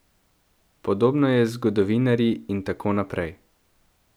Podobno je z zgodovinarji in tako naprej.